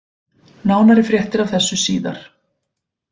Nánari fréttir af þessu síðar.